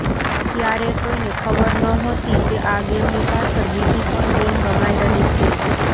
ત્યારે કોઈને ખબર નહોતી કે આ ગેમની પાછળ બીજી પણ ગેમ રમાઈ રહી છે